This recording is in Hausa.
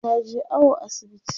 taje awo asibiti